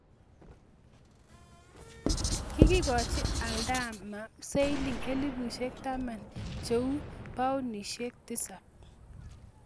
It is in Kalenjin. Kigochi adama siling elipusiek taman che uu paunisiek tisap